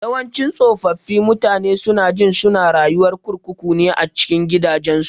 Yawanci tsofaffi mutane sunajin suna rayuwar kurkuku ne a cikin gidajensu.